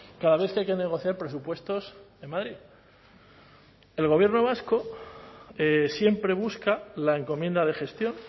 cada vez que hay que negociar presupuestos en madrid el gobierno vasco siempre busca la encomienda de gestión